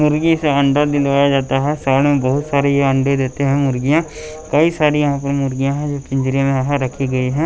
मुर्गी से अंडा दिलवाया जाता है साइड में बहुत सारी ये अंडे देते हैं मुर्गियां कई सारी यहाँ पर मुर्गियां है जो पिंजरे में है रखी गई है।